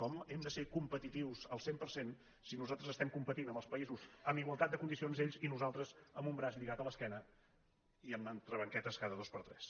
com hem de ser com·petitius al cent per cent si nosaltres estem competint amb els països amb igualtat de condicions ells i nosal·tres amb un braç lligat a l’esquena i amb entreban·quetes cada dos per tres